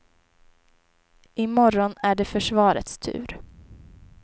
I morgon är det försvarets tur.